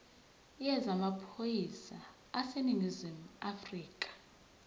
yezamaphoyisa aseningizimu afrika